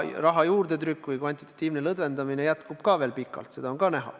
Raha juurdetrükk või kvantitatiivne lõdvendamine jätkub ka veel pikalt, sedagi on näha.